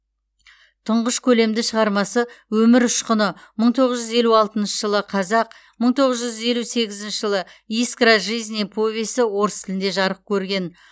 тұңғыш көлемді шығармасы өмір ұшқыны мың тоғыз жүз елу алтыншы жылы қазақ мың тоғыз жүз елу сегізінші жылы искра жизни повесі орыс тілінде жарық көрген